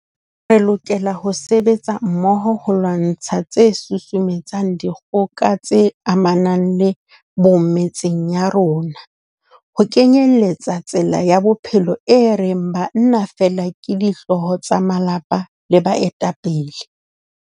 Re lokela ho sebetsa mmoho ho lwantsha tse susumetsang dikgoka tse amanang le bong metseng ya rona, ho kenyeletsa tsela ya bophelo e reng banna feela ke dihlooho tsa malapa le baetapele.